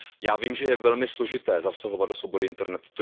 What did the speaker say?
Já vím, že je velmi složité zasahovat do svobody internetu.